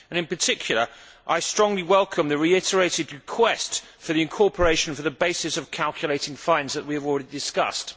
In particular, I strongly welcome the reiterated request for the incorporation of the basis for calculating fines, which we have already discussed.